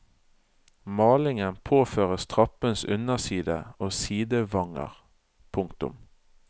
Malingen påføres trappens underside og sidevanger. punktum